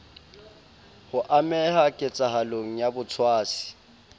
ho ameha ketsahalong ya botshwasi